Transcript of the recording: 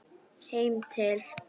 Heim til